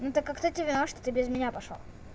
ну так а кто тебе виноват что ты без меня пошёл